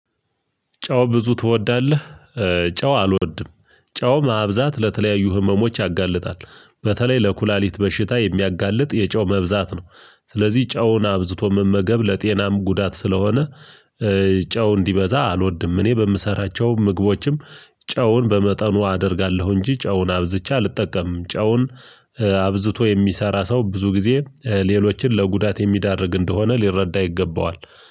ጨው ብዙ ትወዳለህ? ጨው አልወድም ጨው ማብዛት ለተለያዩ ህመሞች ያጋልጣል። በተለይ ለኩላሊት በሽታ የሚያጋልጥ የጨው መብዛት ነው። ስለዚህ ጨውን አብዝቶ መመገብ ለጤናም ጉዳት ስለሆነ። ጨው እንዲበዛ አልወድም እኔ በምሰራቸው ምግቦችም ጨውን በመጠኑ አደርጋለሁ። እንጂ ጨውን አብዝቼ አልጠቀምም። ጨውን አብዝቶ የሚሰራ ሰው ብዙ ጊዜ ሌሎችን ለጉዳት የሚያዳርግ እንደሆነ ሊረዳ ይገባዋል።